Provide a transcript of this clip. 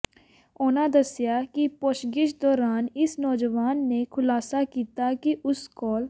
ਉਨ੍ਹਾਂ ਦੱਸਿਆ ਕਿ ਪੁੱਛਗਿੱਛ ਦੌਰਾਨ ਇਸ ਨੌਜਵਾਨ ਨੇ ਖ਼ੁਲਾਸਾ ਕੀਤਾ ਕਿ ਉਸ ਕੋਲ